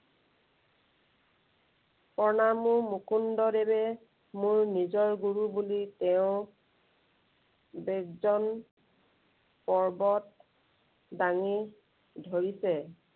প্ৰণামো মুকুন্দ দেৱে মোৰ নিজৰ গুৰু বুলি তেওঁ বেদজন পৰ্বত দাঙি ধৰিছে।